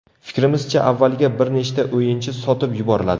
Fikrimizcha, avvaliga bir nechta o‘yinchi sotib yuboriladi.